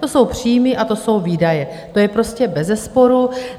To jsou příjmy a to jsou výdaje, to je prostě beze sporu.